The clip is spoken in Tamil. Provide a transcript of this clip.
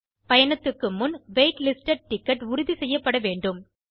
பயணத்துக்கு முன் வெய்ட் லிஸ்டட் டிக்கெட் உறுதி செய்யப்படவேண்டும்